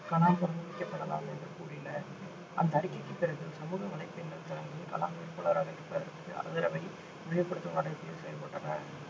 கலாம் பரிந்துரைக்கப்படலாம் என்று கூறின அந்த அறிக்கைக்குப் பிறகு சமூக வலைப்பின்னல் தளங்கள் கலாம் வேட்பாளராக நிற்பதற்கு ஆதரவை விரிவுபடுத்தும் நடவடிக்கைகளில் செயல்பட்டன